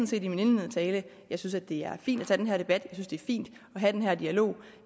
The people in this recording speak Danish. set i min indledende tale at jeg synes det er fint at tage den her debat at det er fint at have den her dialog